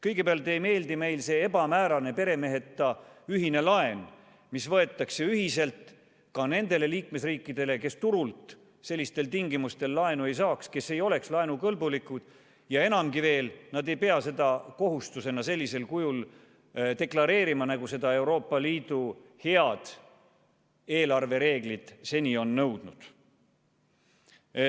Kõigepealt ei meeldi meile see ebamäärane, peremeheta ühine laen, mis võetakse ühiselt ka nendele liikmesriikidele, kes turult sellistel tingimustel laenu ei saaks, kes ei oleks laenukõlbulikud, ja enamgi veel, nad ei pea seda kohustusena sellisel kujul deklareerima, nagu seda Euroopa Liidu head eelarvereeglid seni on nõudnud.